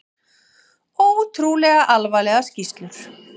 Ótrúlega alvarlegar skýrslur